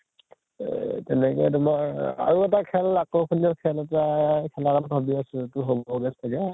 এ তেনেকে তোমাৰ আৰু এটা খেল আকৰ্শনীয় খেল এটা খেলা কাৰণে ভাবি আছো, এইটো হʼব গে চাগে ?